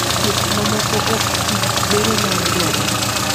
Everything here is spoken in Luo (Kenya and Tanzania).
ka thieth mamoko ik tii, bero nyalo dwarore